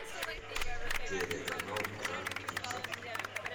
телеканал жар птица